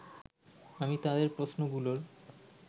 আমি তাদের প্রশ্নগুলোর